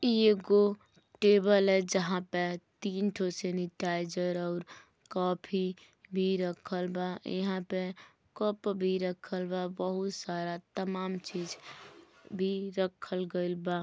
इ एगो टेबल है जहां पे तीन ठो सैनिटाइजर और काफी भी रखल बा इहा पे कप भी रखल बा बहुत सारा तमाम चीज भी रखल गइल बा।